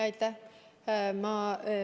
Aitäh!